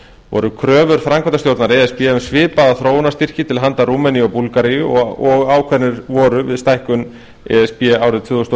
voru kröfur framkvæmdastjórnar e s b um svipaða þróunarstyrki til handa rúmeníu og búlgaríu og ákveðnir voru við stækkun e s b árið tvö þúsund og